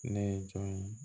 Ne ye jɔn ye